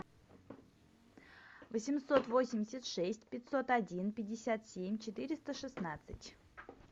восемьсот восемьдесят шесть пятьсот один пятьдесят семь четыреста шестнадцать